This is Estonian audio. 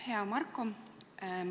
Hea Marko!